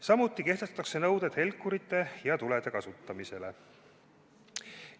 Samuti kehtestatakse nõuded helkurite ja tulede kasutamisele.